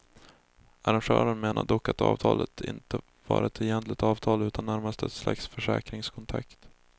Arrangören menar dock att avtalet inte var ett egentligt avtal utan närmast ett slags försäkringskontrakt.